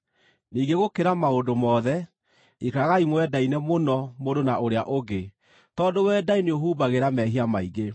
Ningĩ gũkĩra maũndũ mothe, ikaragai mwendaine mũno mũndũ na ũrĩa ũngĩ, tondũ wendani nĩũhumbagĩra mehia maingĩ.